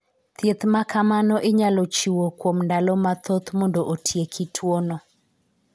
Thiedh maka mano inyalo chiwo kuom ndalo mathoth mondo otieki tuono.